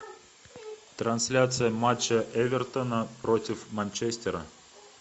трансляция матча эвертона против манчестера